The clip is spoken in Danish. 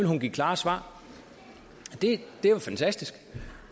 hun give klare svar det er jo fantastisk